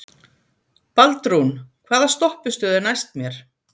Baldrún, hvaða stoppistöð er næst mér?